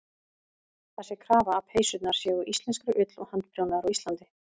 Það sé krafa að peysurnar séu úr íslenskri ull og handprjónaðar á Íslandi.